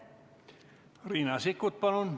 Riina Sikkut, palun!